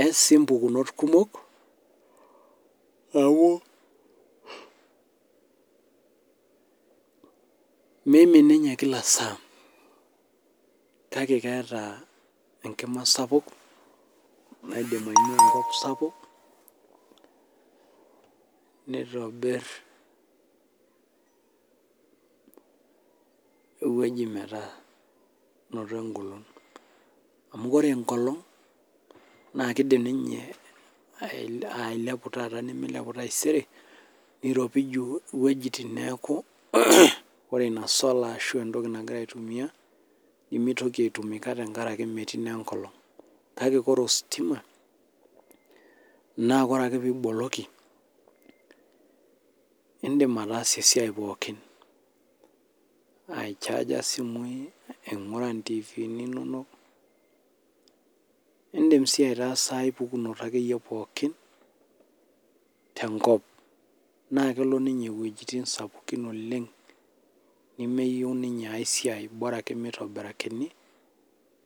eas sii mbukunot kumok neeku mimin ninye kila saa kake etaa ninye Enkima sapuk naidim ainua enkop sapuk nitobir ewueji metaa menoto egolon amu ore enkolog naa kidim ninye ailepu taata nimilepu taisere niropiju ewueitin neeku ore ena sola arashu entoki nagira aitumia nimitoki aitumika tenkaraki metii naa enkolog kake ore ositimanaa ore ake peyie eboloki edim atasie esiai pookin ichaija simui aing'ura ntivini inono edim sii aitasaa ai pukunoto pookin tenkop naa kelo ninye wuejitin sapukin oleng nemeyieu ninye aisiai Bora ake mitobirakini